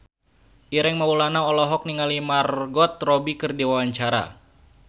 Ireng Maulana olohok ningali Margot Robbie keur diwawancara